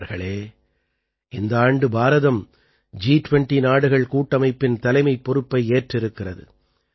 நண்பர்களே இந்த ஆண்டு பாரதம் ஜி20 நாடுகள் கூட்டமைப்பின் தலைமைப் பொறுப்பை ஏற்றிருக்கிறது